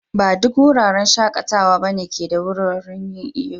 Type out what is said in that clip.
Ba duk wuraren shakatawa ba ne ke da wuraren yin'iyo.